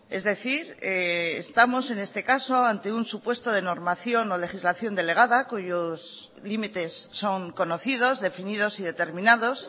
es decir estamos en este caso ante un supuesto de normación o legislación delegada cuyos límites son conocidos definidos y determinados